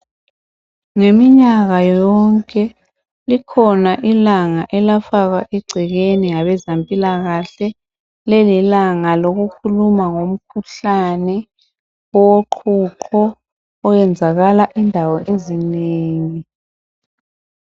Ngeminyaka yonke kukhona ilanga elafakwa eceleni ngabezempilakahle. Leli lilanga lokukhuluma ngomkhuhlane woqhuqho. Owenzakala endaweni ezinengi,